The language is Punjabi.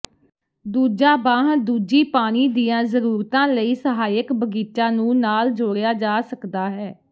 ਦੂਜਾ ਬਾਂਹ ਦੂਜੀ ਪਾਣੀ ਦੀਆਂ ਜ਼ਰੂਰਤਾਂ ਲਈ ਸਹਾਇਕ ਬਗੀਚਾ ਨੂ ਨਾਲ ਜੋੜਿਆ ਜਾ ਸਕਦਾ ਹੈ